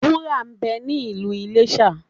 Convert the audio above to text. Wúrà ń bẹ ní Ìlú Iléṣà.